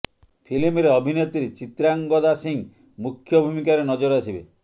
ଫିଲ୍ମରେ ଅଭିନେତ୍ରୀ ଚିତ୍ରାଙ୍ଗଦା ସିଂହ ମୁଖ୍ୟ ଭୂମିକାରେ ନଜର ଆସିବେ